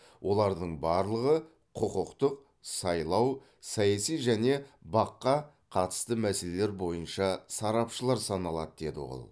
олардың барлығы құқықтық сайлау саяси және бақ қа қатысты мәселелер бойынша сарапшылар саналады деді ол